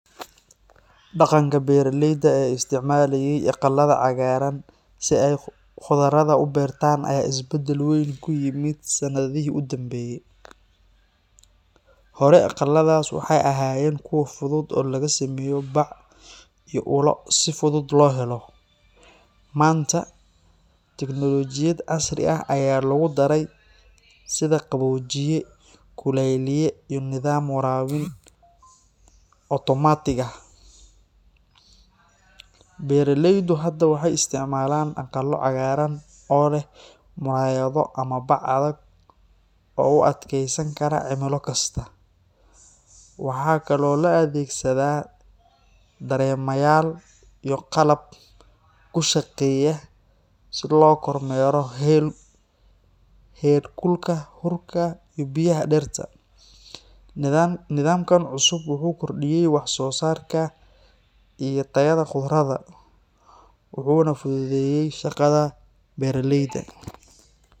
Dhaqanka beeraleyda ee isticmaalayey aqalada cagaaran si ay khudradda u beertaan ayaa isbedel weyn ku yimid sannadihii u dambeeyay. Hore, aqaladaas waxay ahaayeen kuwo fudud oo laga sameeyo bac iyo ulal si fudud loo helo. Maanta, tiknoolajiyad casri ah ayaa lagu daray sida qaboojiye, kulayliye, iyo nidaam waraabin otomaatig ah. Beeraleydu hadda waxay isticmaalaan aqalo cagaaran oo leh muraayado ama bac adag oo u adkeysan kara cimilo kasta. Waxaa kaloo la adeegsadaa dareemayaal iyo qalab ku shaqeeya si loo kormeero heer kulka, huurka, iyo biyaha dhirta. Nidaamkan cusub wuxuu kordhiyay wax-soosaarka iyo tayada khudradda, wuxuuna fududeeyay shaqada beeraleyda.